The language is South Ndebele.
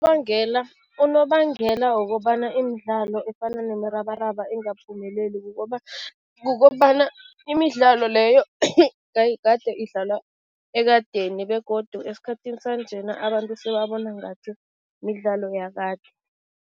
Unobangela wokobana imidlalo efana nomrabaraba ingaphumeleli kukobana, imidlalo leyo kade idlalwa ekadeni begodu esikhathini sanjena abantu sebabona ngathi midlalo yakade.